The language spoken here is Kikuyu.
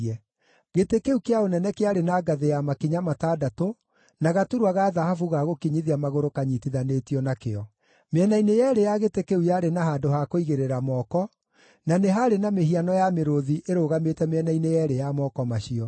Gĩtĩ kĩu kĩa ũnene kĩarĩ na ngathĩ ya makinya matandatũ, na gaturwa ga thahabu ga gũkinyithia magũrũ kanyiitithanĩtio nakĩo. Mĩena-inĩ yeerĩ ya gĩtĩ kĩu yarĩ na handũ ha kũigĩrĩra moko, na nĩ haarĩ na mĩhiano ya mĩrũũthi ĩrũgamĩte mĩena-inĩ yeerĩ ya moko macio.